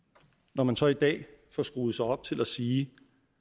når man så i dag får skruet sig op til at sige